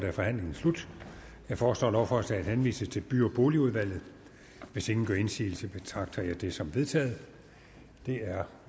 er forhandlingen slut jeg foreslår at lovforslaget henvises til by og boligudvalget hvis ingen gør indsigelse betragter jeg det som vedtaget det er